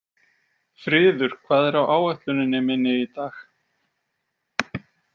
Friður, hvað er á áætluninni minni í dag?